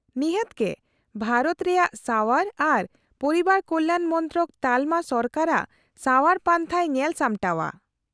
- ᱱᱤᱦᱟᱹᱛ ᱜᱮ ᱾ ᱵᱷᱟᱨᱚᱛ ᱨᱮᱭᱟᱜ ᱥᱟᱣᱟᱨ ᱟᱨ ᱯᱚᱨᱤᱵᱟᱨ ᱠᱚᱞᱭᱟᱱ ᱢᱚᱱᱛᱨᱚᱠ ᱛᱟᱞᱚᱢᱟ ᱥᱚᱨᱠᱟᱨᱟᱜ ᱥᱟᱣᱟᱨ ᱯᱟᱱᱛᱷᱟᱭ ᱧᱮᱞ ᱥᱟᱢᱴᱟᱣᱟ᱾